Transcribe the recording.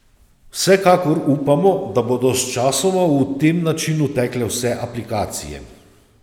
Vsekakor upamo, da bodo sčasoma v tem načinu tekle vse aplikacije.